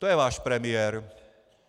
To je váš premiér.